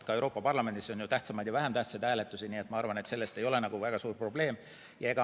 Ka Euroopa Parlamendis on ju tähtsamaid ja vähem tähtsaid hääletusi, nii et ma arvan, et see ei ole väga suur probleem.